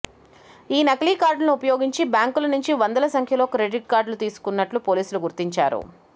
ఈ నకిలీ కార్డులను ఉపయోగించి బ్యాంకుల నుంచి వందల సంఖ్యలో క్రెడిట్ కార్డులు తీసుకున్నట్లు పోలీసులు గుర్తించారు